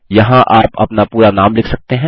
यहाँ आप अपना पूरा नाम लिख सकते हैं